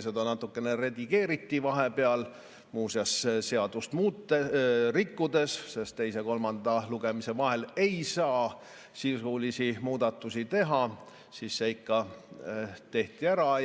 Seda natukene redigeeriti vahepeal – muuseas, seadust rikkudes, sest teise ja kolmanda lugemise vahel ei saa sisulisi muudatusi teha, aga see ikka tehti ära –